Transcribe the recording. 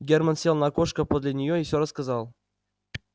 германн сел на окошко подле неё и всё рассказал